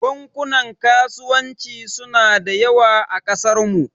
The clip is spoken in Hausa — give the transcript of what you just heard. Bankunan kasuwanci suna da yawa a kasarmu.